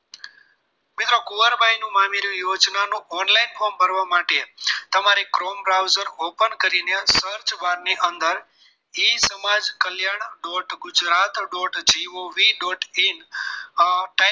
મિત્રો કુંવરબાઈનું મામેરુ યોજના નું online form ભરવા માટે તમારે chrome browser open કરીને search bar ની અંદર e Samaj Kalyan dot Gujarat dot G O V dot in type